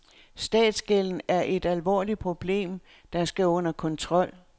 Statsgælden er et alvorligt problem, der skal under kontrol.